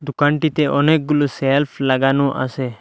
দোকানটিতে অনেকগুলো সেলফ লাগানো আসে।